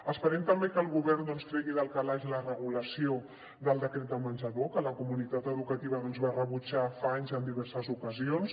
esperem també que el govern tregui del calaix la regulació del decret de menjador que la comunitat educativa va rebutjar fa anys en diverses ocasions